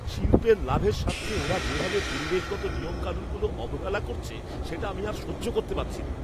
শিল্পের লাভের স্বার্থে ওরা যেভাবে পরিবেশগত নিয়মকানুনগুলো অবহেলা করছে সেটা আমি আর সহ্য করতে পারছি না।